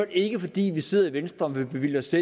ikke er fordi vi sidder i venstre og vil bevilge os